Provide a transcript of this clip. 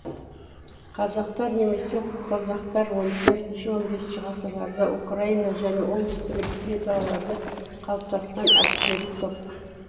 казактар немесе козактар он төртінші он бесінші ғасырларда украина және оңтүстік ресей далаларда қалыптасқан әскери топ